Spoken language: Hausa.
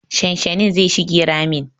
Shanshanin zai shige ramin.